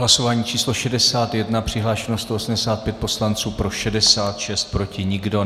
Hlasování číslo 61, přihlášeno 185 poslanců, pro 66, proti nikdo.